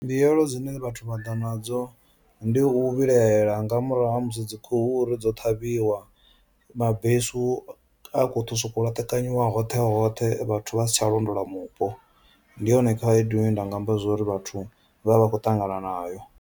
Mbuyelo dzine vhathu vha ḓa nadzo ndi u vhilahela nga murahu ha musi dzi khuhu-hu uri dzo ṱhavhiwa mabesu a kho to soko laṱekanyiwa hoṱhe hoṱhe vhathu vha si tsha londola mupo ndi yone khaedu ine nda nga amba zwori vhathu vha vha vha khou ṱangana nayo.